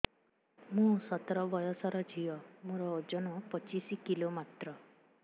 ମୁଁ ସତର ବୟସର ଝିଅ ମୋର ଓଜନ ପଚିଶି କିଲୋ ମାତ୍ର